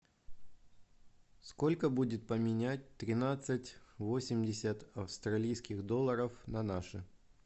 сколько будет поменять тринадцать восемьдесят австралийских долларов на наши